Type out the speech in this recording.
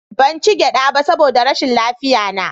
Ban ci gyada ba saboda rashin lafiyarna